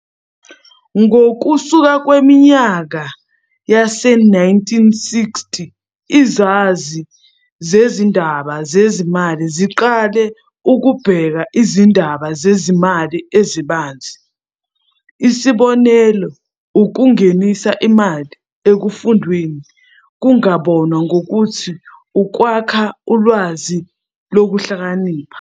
Ngokusuka kweminyaka yase1960, izazi zezindaba zezimali ziqale ukubheka izindaba zezimali ezibanzi. Isibonelo- ukungenisa imali ekufundweni kungabonwa ngokuthi ukwakha ulwazi lokuhlakanipha.